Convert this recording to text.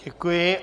Děkuji.